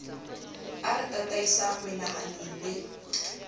e re tataisang menahanong le